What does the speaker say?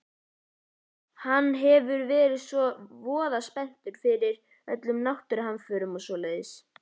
Hann verður alltaf voða spenntur yfir öllum náttúruhamförum og svoleiðis.